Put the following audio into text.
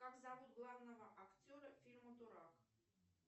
как зовут главного актера фильма дурак